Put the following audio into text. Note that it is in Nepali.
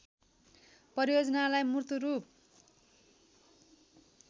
परियोजनालाई मूर्त रूप